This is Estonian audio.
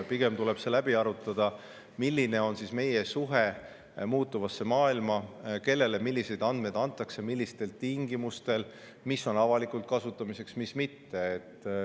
Pigem tuleb läbi arutada, milline on meie suhe muutuva maailmaga, kellele milliseid andmeid antakse, millistel tingimustel, mis on avalikult kasutamiseks ja mis mitte.